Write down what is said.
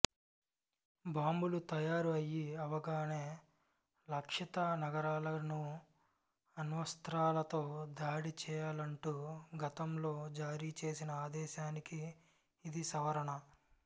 బాంబులు తయారు అయీ అవగానే లక్ష్యిత నగరాలను అణ్వస్త్రాలతో దాడి చెయ్యాలంటూ గతంలో జారీ చేసిన ఆదేశానికి ఇది సవరణ